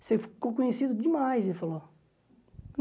Você ficou conhecido demais, ele falou.